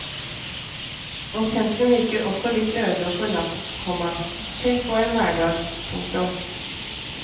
Og sentrum virker også litt øde og forlatt, komma selv på en hverdag. punktum